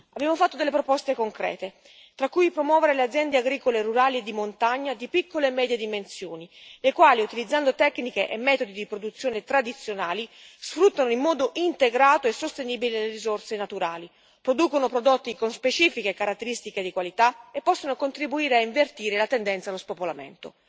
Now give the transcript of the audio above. Abbiamo fatto delle proposte concrete, tra cui promuovere le aziende agricole e rurali e di montagna, di piccole e medie dimensioni, le quali, utilizzando tecniche e metodi di produzione tradizionali, sfruttano in modo integrato e sostenibile le risorse naturali, producono prodotti con specifiche caratteristiche di qualità e possono contribuire a invertire la tendenza allo spopolamento.